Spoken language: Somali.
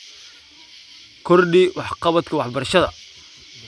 Kordhi Waxqabadka Waxbarashada.